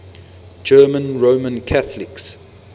german roman catholics